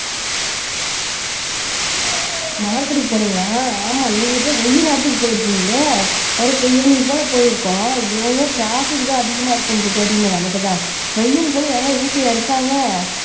மார்க்கெட்க்கு போனீங்களா ஆமா நீங்க போய் வெயில் நேரத்துக்கு போயிருக்கீங்களே ஈவினிங் போல போயிருக்கணும் இவங்க ட்ராபிக் தான் அதிகமா இருக்குன்னு தெரியுமே நமக்குத்தான் வெயில் கூட ஏங்க வீட்டுலயா இருக்காங்க